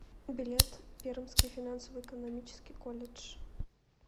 билет пермский финансово экономический колледж